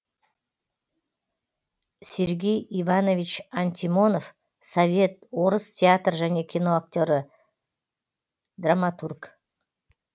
сергей иванович антимонов совет орыс театр және киноактері драматург